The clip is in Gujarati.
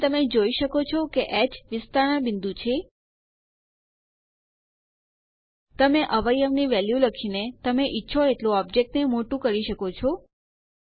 અહીં તમે જોઈ શકો છો કે હ વિસ્તરણ બિંદુ છે તમે અવયવ ની વેલ્યુ લખીને તમે ઈચ્છો એટલું ઓબ્જેક્ટ ને મોટું કરી શકો છો